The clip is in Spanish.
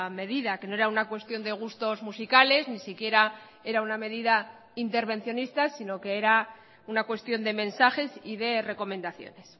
medida que no era una cuestión de gustos musicales ni siquiera era una medida intervencionista sino que era una cuestión de mensajes y de recomendaciones